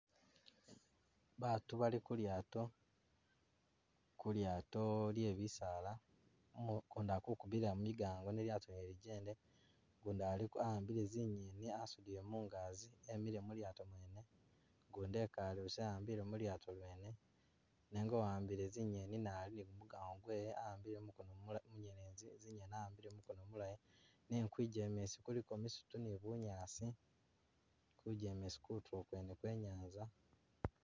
Batu bali kulyato, kulyato lyebisaala, umu- ukundi akukubila migango ne lyato lyene lijende, gundi alik- a'ambile zinyeni asudile mungagi, emile mulyato mwene, gundi ekale busa a'ambile mulyato mwene, nenga uwambile zinyeni naye ali ni gumugango gwe we awambile mu mukono mula- munyelezi zinyezi wa'ambile mumukono mulayi nenga kwijemesi kuliko misitu ni bunyaasi, kubijemesi kutulo kwene kwenyanza.